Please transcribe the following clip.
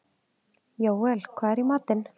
Jóel, hvað er í matinn?